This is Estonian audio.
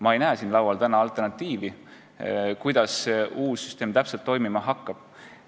Ma ei näe siin laual täna alternatiivi, kuidas see uus süsteem täpselt toimima hakkab.